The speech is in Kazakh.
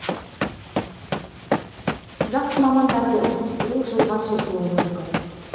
жақсы мамандарды іздестіру жылға созылуы мүмкін